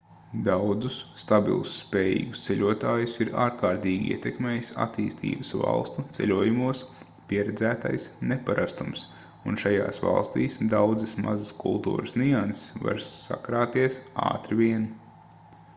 daudzus stabilus spējīgus ceļotājus ir ārkārtīgi ietekmējis attīstības valstu ceļojumos pieredzētais neparastums un šajās valstīs daudzas mazas kultūras nianses var sakrāties ātri vien